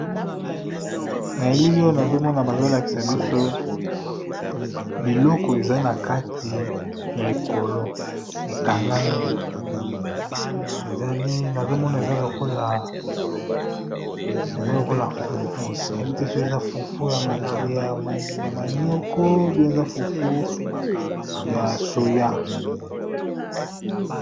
Na elili oyo nazomona bazolakisa biso biloko eza na kati ya ekolo ekangami nazomona eza lokola fufu nayebi te so eza fufu ya manioko p eza fufu ya soya.